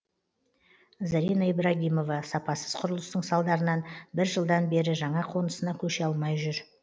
зарина ибрагимова сапасыз құрылыстың салдарынан бір жылдан бері жаңа қонысына көше алмай жүр